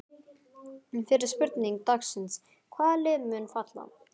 Fyrri spurning dagsins: Hvaða lið munu falla?